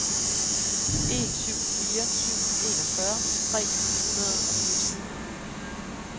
en syv fire syv enogfyrre tre hundrede og fireogtyve